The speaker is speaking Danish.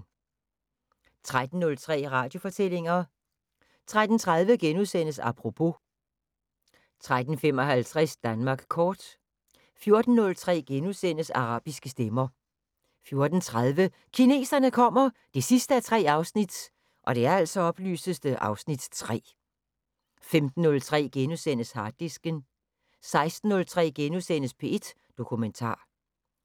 13:03: Radiofortællinger 13:30: Apropos * 13:55: Danmark kort 14:03: Arabiske stemmer * 14:30: Kineserne kommer 3:3 (Afs. 3) 15:03: Harddisken * 16:03: P1 Dokumentar